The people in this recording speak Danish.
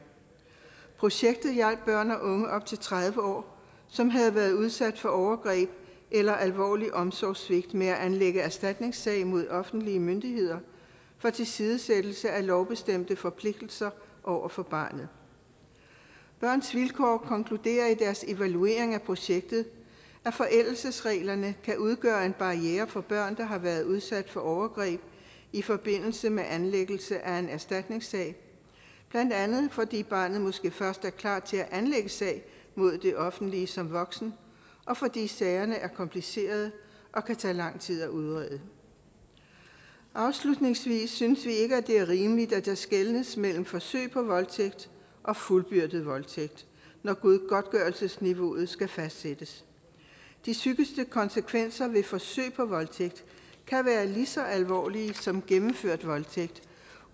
projektet hjalp børn og unge op til tredive år som havde været udsat for overgreb eller alvorlig omsorgssvigt med at anlægge erstatningssag mod offentlige myndigheder for tilsidesættelse af lovbestemte forpligtelser over for barnet børns vilkår konkluderer i deres evaluering af projektet at forældelsesreglerne kan udgøre en barriere for børn der har været udsat for overgreb i forbindelse med anlæggelse af en erstatningssag blandt andet fordi barnet måske først er klar til at anlægge sag mod det offentlige som voksen og fordi sagerne er komplicerede og kan tage lang tid at udrede afslutningsvis synes vi ikke det er rimeligt at der skelnes mellem forsøg på voldtægt og fuldbyrdet voldtægt når godtgørelsesniveauet skal fastsættes de psykiske konsekvenser ved forsøg på voldtægt kan være lige så alvorlige som gennemført voldtægt